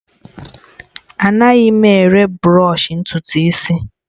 Anaghị m ere bụrọshi ntutu isi